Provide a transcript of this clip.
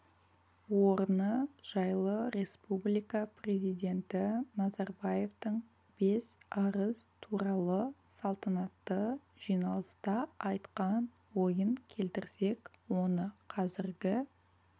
орны жайлы республика президенті назарбаевтың бес арыс туралы салтанатты жиналыста айтқан ойын келтірсек оны қазіргі